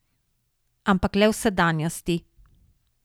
Ampak le v sedanjosti.